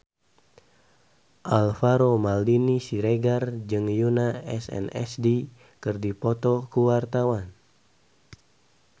Alvaro Maldini Siregar jeung Yoona SNSD keur dipoto ku wartawan